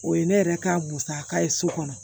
O ye ne yɛrɛ ka musaka ye so kɔnɔ